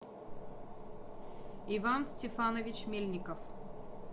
иван степанович мельников